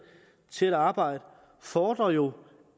til at arbejde fordrer jo